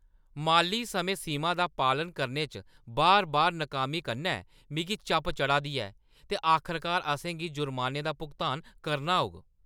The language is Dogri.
माली समें-सीमा दा पालन करने च बार-बार नाकामी कन्नै मिगी चप चढ़ा दी ऐ ते आखरकार असें गी जुर्मानें दा भुगतान करना होग।